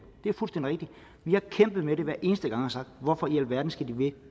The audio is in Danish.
det er fuldstændig rigtigt vi har kæmpet med det hver eneste gang og sagt hvorfor i alverden skal de blive